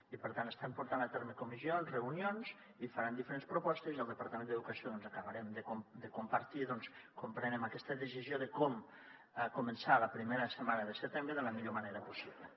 i per tant estan portant a terme comissions reunions i faran diferents propostes i al departament d’educació doncs acabarem de compartir com prenem aquesta decisió de com començar la primera setmana de setembre de la millor manera possible